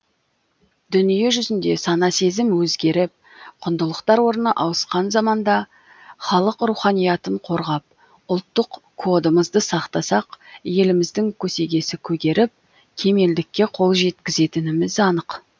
дүние жүзінде сана сезім өзгеріп құндылықтар орны ауысқан заманда халық руханиятын қорғап ұлттық кодымызды сақтасақ еліміздің көсегесі көгеріп кемелдікке қол жеткізетініміз анық